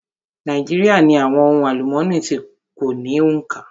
Nàíjíríà ní àwọn ohun àlúmooni tí kò ní òǹkà.